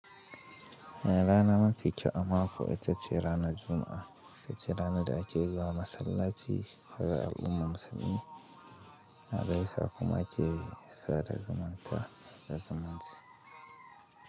Rana mafi kyau a mako ita ce ranar Juma'a, wacce rana da ake zuwa masallaci ga al'ummar musulmi, a gaisa kuma ake sada zumunta da zumunci.